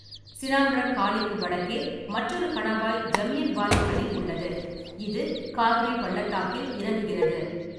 சினாம்ரக் காலிக்கு வடக்கே மற்றொரு கணவாய் ஜமியன்வாலி கலி உள்ளது, இது காக்ரி பள்ளத்தாக்கில் இறங்குகிறது.